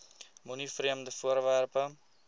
moenie vreemde voorwerpe